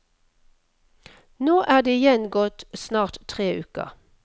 Nå er det igjen gått snart tre uker.